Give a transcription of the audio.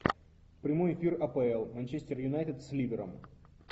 прямой эфир апл манчестер юнайтед с ливером